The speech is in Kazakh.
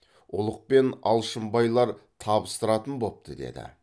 ұлықпен алшынбайлар табыстыратын бопты деді